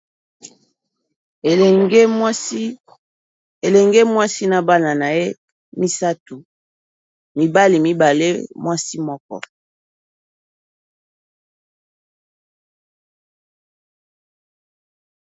Elenge mwasi na bana na ye misatu, mibali mibale mwasi moko.